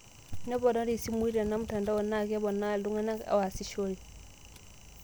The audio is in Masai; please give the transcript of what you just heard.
Neponari isimui tenamtandoa naa keponaa iltung'anak oasishore.